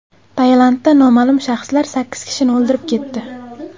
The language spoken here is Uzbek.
Tailandda noma’lum shaxslar sakkiz kishini o‘ldirib ketdi.